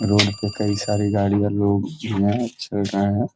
road पे कई सारी गाड़ियाँ लोग भी हैं चल रहे हैं |